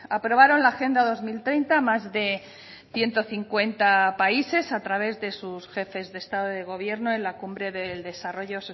aprobaron la agenda dos mil treinta más de ciento cincuenta países a través de sus jefes de estado de gobierno en la cumbre del desarrollo